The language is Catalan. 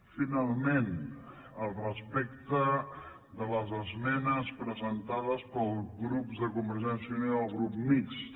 finalment respecte de les esmenes presentades pels grups de convergència i unió i el grup mixt